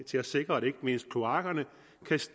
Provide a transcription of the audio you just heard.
til at sikre at ikke mindst kloakkerne kan